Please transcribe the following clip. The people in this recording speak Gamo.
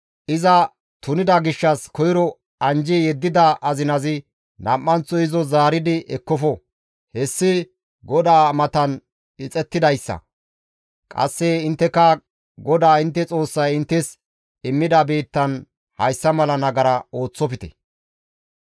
iza tunida gishshas koyro anjji yeddida azinazi nam7anththo izo zaaridi ekkofo; hessi GODAA matan ixettidayssa; qasse intteka GODAA intte Xoossay inttes immida biittan hayssa mala nagara ooththofte.